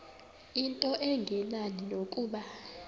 into engenani nokuba